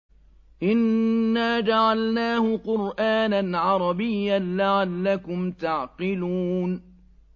إِنَّا جَعَلْنَاهُ قُرْآنًا عَرَبِيًّا لَّعَلَّكُمْ تَعْقِلُونَ